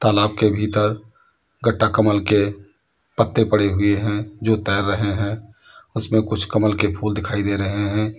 तालाब के भीतर गट्टाकमल के पत्ते पड़े हुए हैं जो तैर रहे हैं। उसमें कुछ कमल के फूल दिखाई दे रहे हैं।